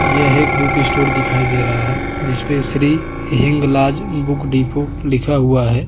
यह एक बुकस्टोर दिखाई दे रहा है जिस पे श्री हिंगलाज बुक डीपो लिखा हुआ है।